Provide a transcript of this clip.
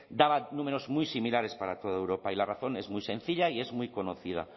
daba números muy similares para toda europa y la razón es muy sencilla y es muy conocida